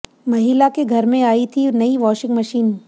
महिला के घर में आई थी नई वॉशिंग मशीन